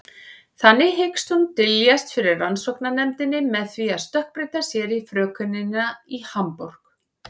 Þannig hyggst hún dyljast fyrir rannsóknarnefndinni með því að stökkbreyta sér í frökenina í Hamborg.